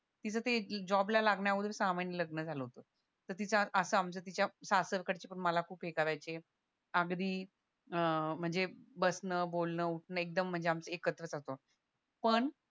तिचं ते जॉबला लागण्या अगोदरच सहा महिने लग्न झालं होत तर असं तिच्या आमच्या सासरकडचे पण मला खूप ये करायचे अगदी अह म्हणजे बसणं बोलणं उठणं एकदम म्हणजे आमचं एकत्रच पण